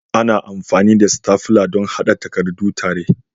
Ana amfani da stafla don haɗa takardu tare.